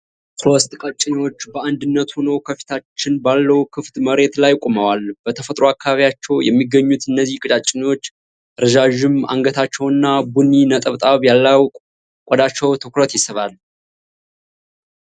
ሶስት ቀጭኔዎች በአንድነት ሆነው ከፊታችን ባለው ክፍት መሬት ላይ ቆመዋል። በተፈጥሮ አካባቢያቸው የሚገኙት እነዚህ ቀጭኔዎች ረዣዥም አንገታቸውና ቡኒ ነጠብጣብ ያለው ቆዳቸው ትኩረት ይስባል።